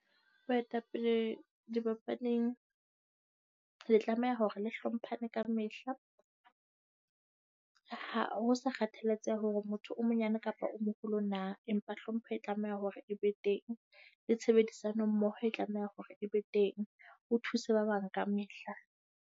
Baetapele dibapading le tlameha hore le hlomphane ka mehla, ho sa kgathaletsehe hore motho o monyane kapa o moholo na, empa hlompha e tlameha hore e be teng le tshebedisanommoho e tlameha hore e be teng. O thuse ba bang kamehla.